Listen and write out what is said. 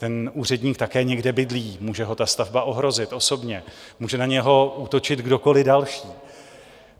Ten úředník také někde bydlí, může ho ta stavba ohrozit osobně, může na něho útočit kdokoliv další.